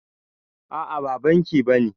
A'a ba banki bane